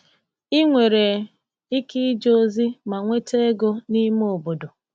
Ị nwere ike ije ozi ma nweta ego n’ime obodo.